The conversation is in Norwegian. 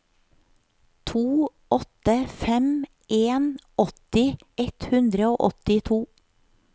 to åtte fem en åtti ett hundre og åttito